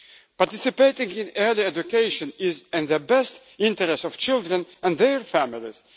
Participating in early education is in the best interests of children and their families.